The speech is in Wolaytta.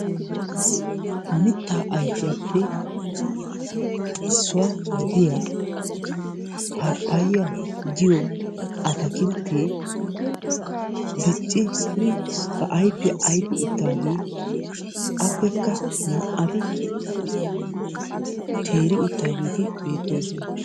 Mittaa ayfiyaappe issuwaa gidiyaa paappayiyaa giyoo ataakilittee diccidi ba ayfiyaa ayfi uttageeti appekka naa"ati teeri uttaageti beettoosona.